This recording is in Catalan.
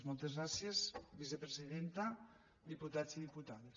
moltes gràcies vicepresidenta diputats i diputades